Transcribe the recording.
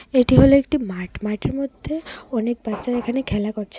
এটি হল একটি মাঠ মাঠের মধ্যে অনেক বাচ্চারা এখানে খেলা করছে।